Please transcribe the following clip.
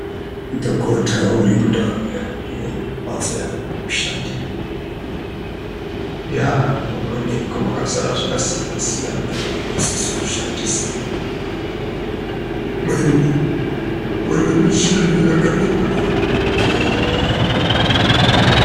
Dhokota urimundau yake mumbatdo yake yekushandira. Eya munoonekwa makazara zvakasiyana-siyana zvaanosiso kushandisa. Mune michini yakarembera, eya.